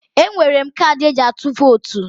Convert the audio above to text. Enwere m kaadị eji atụ votu